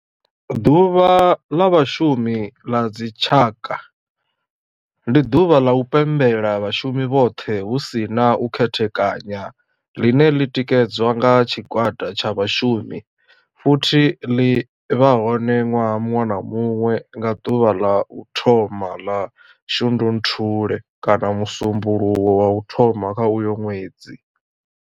Ḓuvha la vhashumi la dzi tshaka, ndi duvha la u pembela vhashumi vhothe hu si na u khethekanya line li tikedzwa nga tshigwada tsha vhashumi futhi ḽi vha hone nwaha munwe na munwe nga duvha la u thoma 1 ḽa Shundunthule kana musumbulowo wa u thoma kha uyo nwedzi.